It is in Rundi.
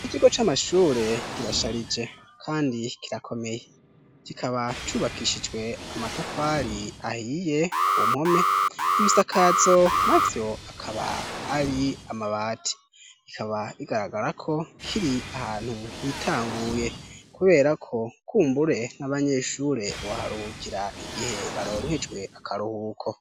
ikigo c'amashure kirasharije kandi kirakomeye kikaba cubakishijwe amatafari ahiye ku mpome n'ibisakatso na vyo akaba ari amabati bikaba bigaragara ko kiri ahantu hitanguye kubera ko kumbure n'abanyeshure boharukira igihe baronkejwe akaruhuko